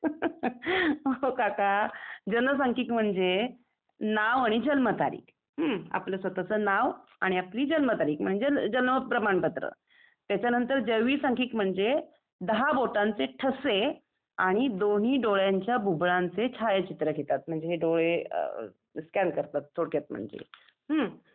हा हा हा अहो काका जनसांख्यिक म्हणजे नाव आणि जन्मतारीख हम्म? आपला स्वतःचं नाव आणि आपली जन्मतारीख म्हणजे जन्म प्रमाणपत्र त्याच्या नंतर जैवीसांख्यिक म्हणजे दहाही बोटांचे ठसे आणि दोन्ही डोळ्यांच्या बुब्बुळांचे छायाचित्र घेतात म्हणजे हे डोळे स्कॅन करतात थोडक्यात म्हणजे हम्म?